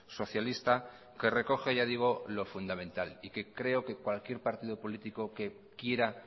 socialista que recoge ya digo lo fundamental y que creo que cualquier partido político que quiera